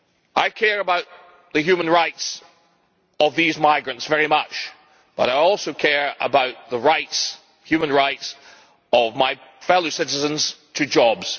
I care about the human rights of these migrants very much, but I also care about the human rights of my fellow citizens to jobs.